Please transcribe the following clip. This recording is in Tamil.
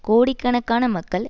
கோடிக்கணக்கான மக்கள்